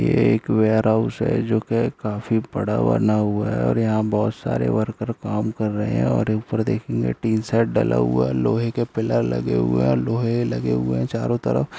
ये एक वेयरहाऊस है जो कि काफी बड़ा बना हुआ है और यहाँ बहुत सारे वर्कर काम कर रहे है और ऊपर दे‍खियें टीन सेट डला हुआ है लोहे के पिलर लगे हुए है और लोहे लगे हुए है चारों तरफ।